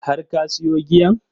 Har ka siyo giyan?